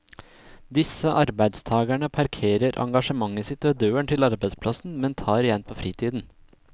Disse arbeidstagerne parkerer engasjementet sitt ved døren til arbeidsplassen, men tar igjen på fritiden.